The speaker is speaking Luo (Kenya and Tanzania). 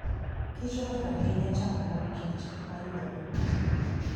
kichohero ahinya chamo mor kich ma yudore kuno.